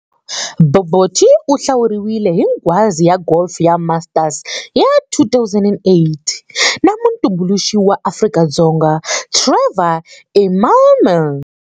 Bobotie u hlawuriwile hi nghwazi ya golf ya Masters ya 2008 na mutumbuluxi wa Afrika-Dzonga Trevor Immelman.